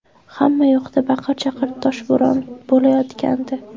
Hamma yoqda baqir-chaqir, toshbo‘ron bo‘layotgandi.